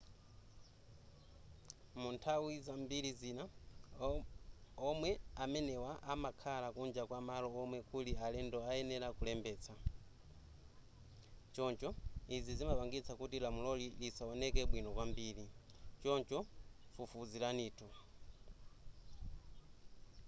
mu nthawi zambiri zina omwe amene amakhala kunja kwa malo omwe kuli alendo ayenera kulembetsa. choncho izi zimapangitsa kuti lamuloli lisaoneke bwino kwambiri choncho fufuziranitu